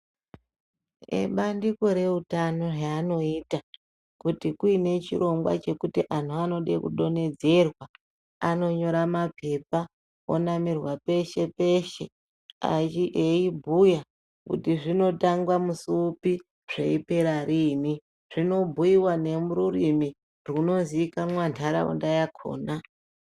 Ebandiko reutano heaanoita kuti kuine chirongwa chekuti anhu anode kudonhedzerwa anonyora mapepa onamirwa peshe peshe ayi eibhuya kuti zvinotangwa musi upi zveipera riini zvinobhuyiwa nerurimi rwunziikanwa ntaraunda yakhona.